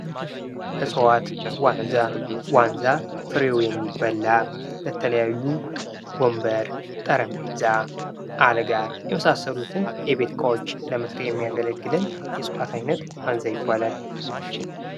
እፅዋት ዋንዛ:-ዋንዛ ፍሬው የሚበላ የተለያዩ ወንበር፣ ጠረጴዛ፣ አልጋ የመሳሰሉት የእቤት እቃዎች ለመሠሪያ የሚያገለግለን የእፅዋት አይነት ዋዛ ይባላል።